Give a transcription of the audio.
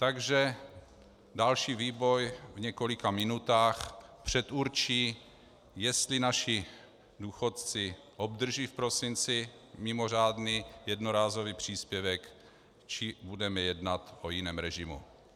Takže další vývoj v několika minutách předurčí, jestli naši důchodci obdrží v prosinci mimořádný jednorázový příspěvek, či budeme jednat o jiném režimu.